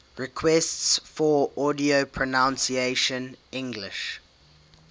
requests for audio pronunciation english